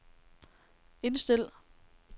indstil